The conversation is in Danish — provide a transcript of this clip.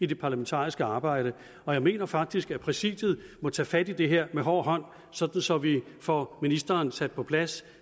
det parlamentariske arbejde og jeg mener faktisk at præsidiet må tage fat i det her med hård hånd sådan så vi får ministeren sat på plads